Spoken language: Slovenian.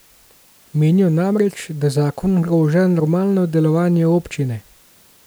Menijo namreč, da zakon ogroža normalno delovanje občine.